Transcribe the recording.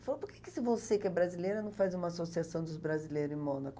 Ele falou, por que se que você, que é brasileira, não faz uma associação dos brasileiros em Mônaco?